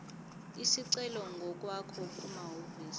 isicelo ngokwakho kumahhovisi